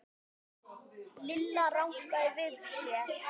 Lilla rankaði við sér.